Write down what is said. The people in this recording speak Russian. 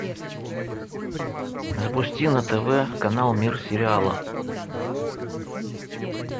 запусти на тв канал мир сериала